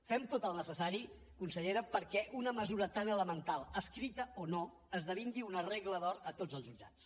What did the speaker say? fem tot el necessari consellera perquè una mesura tan elemental escrita o no esdevingui una regla d’or a tots els jutjats